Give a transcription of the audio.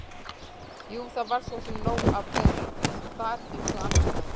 Jú, það var svo sem nóg af þeim þar eins og annars staðar.